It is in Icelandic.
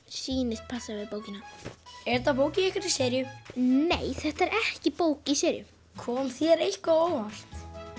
sýnist passa við bókina er þetta bók í einhverri seríu nei þetta er ekki bók í seríu kom þér eitthvað á óvart